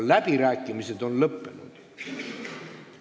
Läbirääkimised on lõppenud.